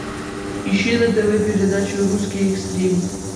ищи на тв передачу русский экстрим